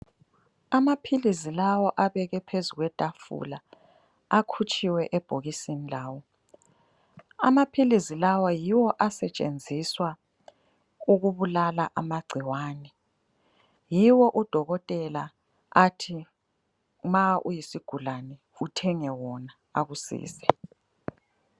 Amaphilizi lawa abekwe phezu kwetafula , akhutshiwe ebhokisini lawo. Amaphilizi lawa yiwo asetshenziswa ukubulala amagcikwane. Yiwo udokotela athi ma uyisigulane uthenge wona akusize.